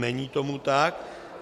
Není tomu tak.